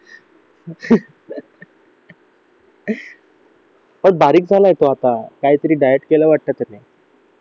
खूप बारीक झाला आहे तो काहीतरी डायट केलं वाटतं त्याने